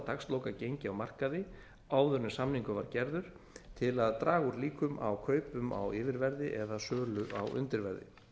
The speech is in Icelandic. dagslokagengi á markaði áður en samningur var gerður til að draga úr líkum á kaupum á yfirverði eða sölu á undirverði